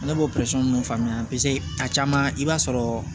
Ne b'o ninnu faamuya kuma caman i b'a sɔrɔ